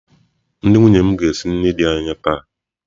Ndị nwunye m ga-esi nri di anyị taa.